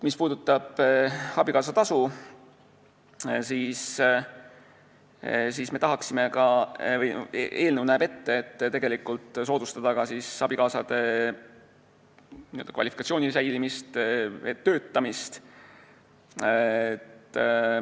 Mis puudutab abikaasatasu, siis eelnõu näeb ette, et tuleb soodustada ka abikaasade kvalifikatsiooni säilimist ja nende töötamist.